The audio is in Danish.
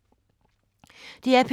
DR P2